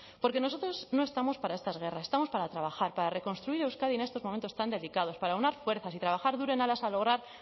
porque nosotros no estamos para estas guerras estamos para trabajar para reconstruir euskadi en estos momentos tan delicados para aunar fuerzas y trabajar duro en aras a lograr